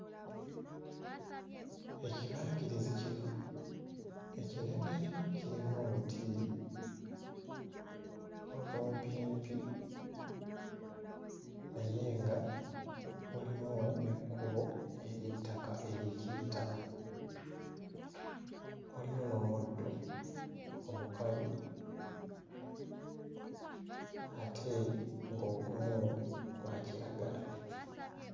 Ekibangirizi kino ekinene kirimu obuti obumpimpi naye nga mulimu n'ekkubo ery'ettaka erikiyitamu mulimu n'omuddo omukalu ate ng'ogumu gwa kiragala.